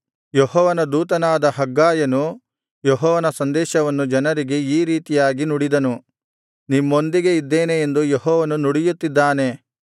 ಯೆಹೋವನ ದೂತನಾದ ಹಗ್ಗಾಯನು ಯೆಹೋವನ ಸಂದೇಶವನ್ನು ಜನರಿಗೆ ಈ ರೀತಿಯಾಗಿ ನುಡಿದನು ನಿಮ್ಮೊಂದಿಗೆ ಇದ್ದೇನೆ ಎಂದು ಯೆಹೋವನು ನುಡಿಯುತ್ತಿದ್ದಾನೆ